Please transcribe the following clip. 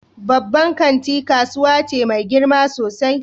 Babban kanti kasuwa ce mai girma sosai.